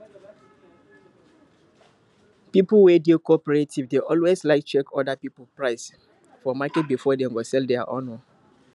people we dey cooperative dey alway like check other people price for market before dem go sell dia own